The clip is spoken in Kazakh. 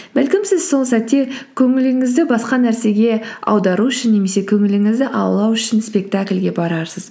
бәлкім сіз сол сәтте көңіліңізді басқа нәрсеге аудару үшін немесе көңіліңізді аулау үшін спектакльге барарсыз